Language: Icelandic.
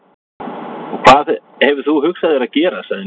Og hvað hefur þú hugsað þér að gera? sagði Milla.